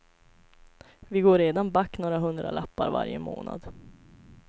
Vi går redan back några hundralappar varje månad.